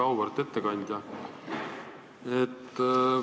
Väga auväärt ettekandja!